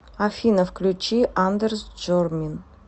афина включи андерс джормин